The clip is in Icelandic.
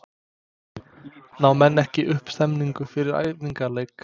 Ná menn ekki upp stemningu fyrir æfingaleiki?